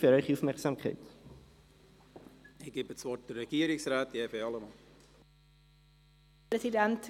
Ich erteile das Wort der Regierungsrätin: Evi Allemann.